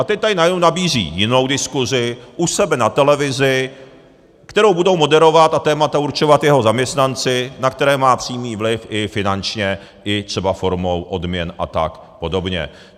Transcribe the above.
A teď tady najednou nabízí jinou diskusi, u sebe na televizi, kterou budou moderovat a témata určovat jeho zaměstnanci, na které má přímý vliv i finančně, i třeba formou odměn a tak podobně.